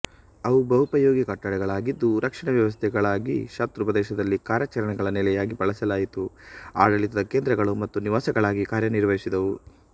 ಅವು ಬಹುಪಯೋಗಿ ಕಟ್ಟಡಗಳಾಗಿದ್ದು ರಕ್ಷಣಾವ್ಯವಸ್ಥೆಗಳಾಗಿಶತ್ರು ಪ್ರದೇಶದಲ್ಲಿ ಕಾರ್ಯಾಚರಣೆಗಳ ನೆಲೆಯಾಗಿ ಬಳಸಲಾಯಿತು ಆಡಳಿತದ ಕೇಂದ್ರಗಳು ಮತ್ತು ನಿವಾಸಗಳಾಗಿ ಕಾರ್ಯನಿರ್ವಹಿಸಿದವು